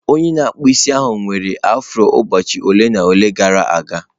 Onye na-akpụ isi ahụ nwere afro ụbọchị ole na ole gara aga.